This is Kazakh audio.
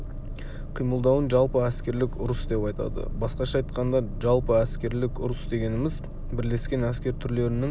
қимылдауын жалпы әскерлік ұрыс деп айтады басқаша айтқанда жалпы әскерлік ұрыс дегеніміз бірлескен әскер түрлерінің